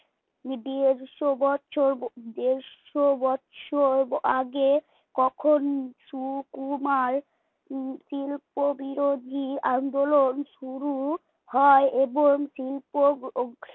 দেড়শ বছর দেড়শ বছর আগে কখন সুকুমার শিল্পবিরধি আন্দোলন শুরু হয় এবং শিল্প